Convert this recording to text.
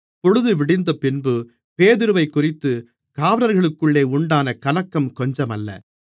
பொழுதுவிடிந்தபின்பு பேதுருவைக்குறித்துக் காவலர்களுக்குள்ளே உண்டான கலக்கம் கொஞ்சமல்ல